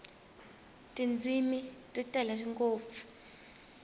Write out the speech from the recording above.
tindzimi ti tele ngopfu